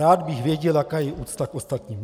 Rád bych věděl, jaká je úcta k ostatním.